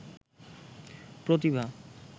প্রতিভা